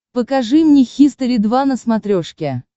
покажи мне хистори два на смотрешке